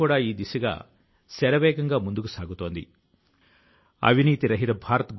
ఇదే లేఖ లో శ్రీ వరుణ్ సింహ్ ఇలా రాశారు నమ్మకాన్ని కోల్పోవద్దు